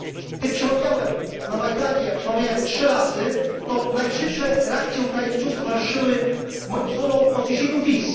Gdy przemawiałem na Majdanie, a przemawiałem trzy razy, to najżywsze reakcje Ukraińców towarzyszyły moim słowom o zniesieniu wiz.